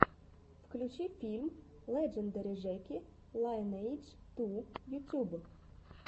включи фильм леджендари жеки лайнэйдж ту ютуб